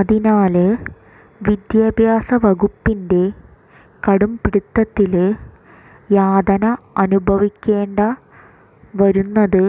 അതിനാല് വിദ്യാഭ്യാസ വകുപ്പിന്റെ കടും പിടുത്തത്തില് യാതന അനുഭവിക്കേണ്ട വരുന്നത്